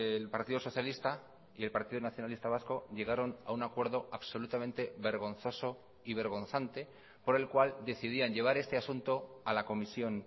el partido socialista y el partido nacionalista vasco llegaron a un acuerdo absolutamente vergonzoso y vergonzante por el cual decidían llevar este asunto a la comisión